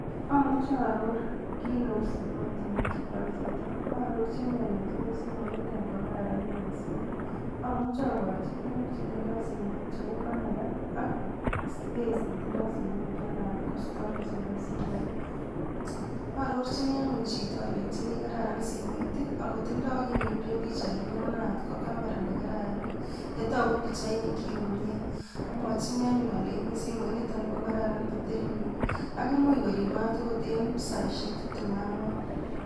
Amuche aaror kii neu simoit yo mache kual chito, aarorchin alenji simoiniton ko kararan mising, amuche aborjini tukuk che tindoi simoit cheu camera ak space ne tindoi simoit nanat ko storage nebo simoit. aarorjini anyun chito alenjini kararan simoit aku tindoi kii ne kikuren pichaini nanat ko camera ne kararan, ne toku pichainikchi komie, amwochini aleini siminiton ko kararan batterinyin aku mui korib maat akot eng saishek tiptem ak ang'wan.